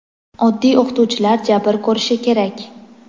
oddiy o‘qituvchilar jabr ko‘rishi kerak?.